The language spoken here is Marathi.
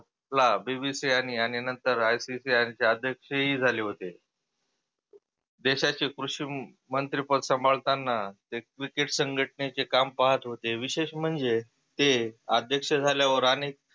ला BBC आणि नंतर ICC चे अध्यक्ष ही झाले होते. देशाचे कृषी मंत्री पद सांभाळताना ते cricket संघटनेचे काम पाहत होते. विशेष म्हणजे ते अध्यक्ष झाल्यावर आणि